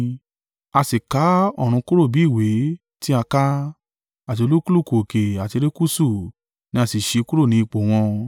A sì ká ọ̀run kúrò bí ìwé tí a ká, àti olúkúlùkù òkè àti erékùṣù ní a sì ṣí kúrò ní ipò wọn.